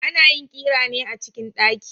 Ana yin ƙira ne a cikin daki